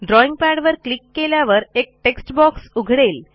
drawing पॅडवर click केल्यावर एक टेक्स्ट बॉक्स उघडेल